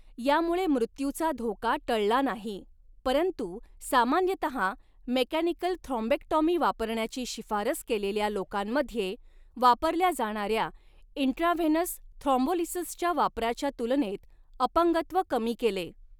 यामुळे मृत्यूचा धोका टळला नाही, परंतु सामान्यतः मेकॅनिकल थ्रॉम्बेक्टॉमी वापरण्याची शिफारस केलेल्या लोकांमध्ये वापरल्या जाणाऱ्या इंट्राव्हेनस थ्रॉम्बोलिसिसच्या वापराच्या तुलनेत अपंगत्व कमी केले.